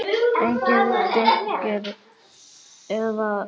Engir dynkir eða hvinur.